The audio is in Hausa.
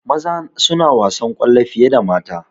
Maza suna wasan kwallo fiye da mata